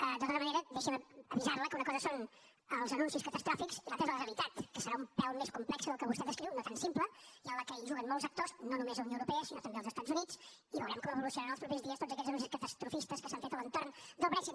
de tota manera deixi’m avisar la que una cosa són els anuncis catastròfics i l’altra és la realitat que serà un pèl més complexa del que vostè descriu no tan simple i en què juguen molts actors no només la unió europea sinó també els estats units i veurem com evolucionen els propers dies tots aquells anuncis catastrofistes que s’han fet a l’entorn del brexit